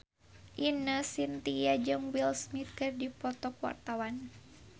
Ine Shintya jeung Will Smith keur dipoto ku wartawan